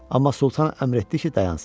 Amma Sultan əmr etdi ki, dayansın.